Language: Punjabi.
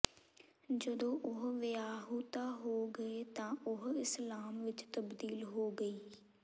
ਜਦੋਂ ਉਹ ਵਿਆਹੁਤਾ ਹੋ ਗਏ ਤਾਂ ਉਹ ਇਸਲਾਮ ਵਿਚ ਤਬਦੀਲ ਹੋ ਗਈ